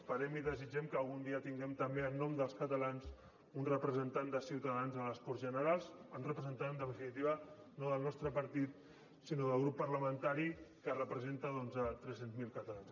esperem i desitgem que algun dia tinguem també en nom dels catalans un representant de ciutadans a les corts generals un representant en definitiva no del nostre partit sinó del grup parlamentari que representa doncs tres cents miler catalans